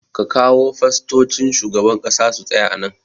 Ka kawo fastocin shugaban ƙasa su tsaya a nan